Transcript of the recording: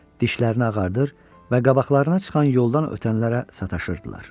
Dişlərini ağardır və qabaqlarına çıxan yoldan ötənlərə sataşırdılar.